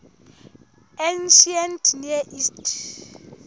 ancient near east